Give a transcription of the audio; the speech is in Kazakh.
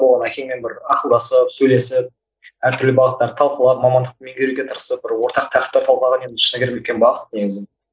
соған әкеммен бір ақылдасып сөйлесіп әртүрлі бағыттарды талқылап мамандықты меңгеруге тырысып бір ортақ тақырыпты талқылаған енді шыны керек үлкен бағыт негізі